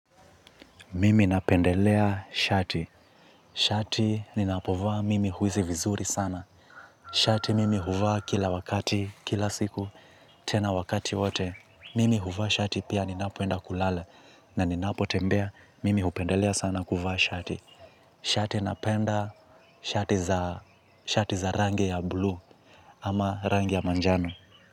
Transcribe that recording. Mimi napendelea shati. Shati ninapovaa mimi huhisi vizuri sana. Shati mimi huvaa kila wakati, kila siku, tena wakati wote. Mimi huvaa shati pia ninapoenda kulala. Na ni napotembea, mimi hupendelea sana kuvaa shati. Shati napenda shati za shati za rangi ya blue ama rangi ya manjano.